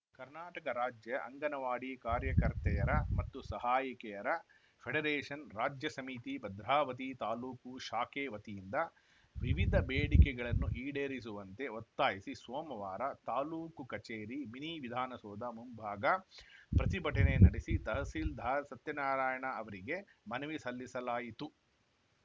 ಕರ್ನಾಟಕ ರಾಜ್ಯ ಅಂಗನವಾಡಿ ಕಾರ್ಯಕರ್ತೆಯರ ಮತ್ತು ಸಹಾಯಕಿಯರ ಫೆಡರೇಷನ್‌ ರಾಜ್ಯ ಸಮಿತಿ ಭದ್ರಾವತಿ ತಾಲೂಕು ಶಾಖೆ ವತಿಯಿಂದ ವಿವಿಧ ಬೇಡಿಕೆಗಳನ್ನು ಈಡೇರಿಸುವಂತೆ ಒತ್ತಾಯಿಸಿ ಸೋಮವಾರ ತಾಲೂಕು ಕಚೇರಿ ಮಿನಿ ವಿಧಾನಸೌಧ ಮುಂಭಾಗ ಪ್ರತಿಭಟನೆ ನಡೆಸಿ ತಹಸೀಲ್ದಾರ್‌ ಸತ್ಯನಾರಾಯಣ ಅವರಿಗೆ ಮನವಿ ಸಲ್ಲಿಸಲಾಯಿತು